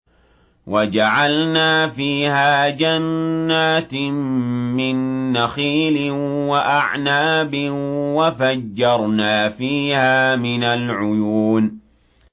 وَجَعَلْنَا فِيهَا جَنَّاتٍ مِّن نَّخِيلٍ وَأَعْنَابٍ وَفَجَّرْنَا فِيهَا مِنَ الْعُيُونِ